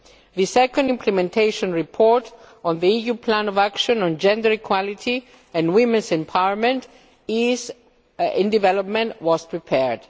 The second implementation report on the EU plan of action on gender equality and women's empowerment in development has been prepared.